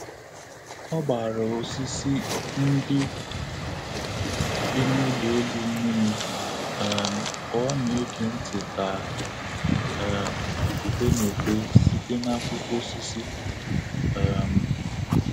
Ọ gbara osisi ndị dị n'ụlọ elu mmiri um ka ọ na-ege ntị ka um ifufe na-efe site n'akwụkwọ osisi. um